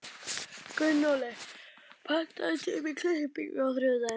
Gunnóli, pantaðu tíma í klippingu á þriðjudaginn.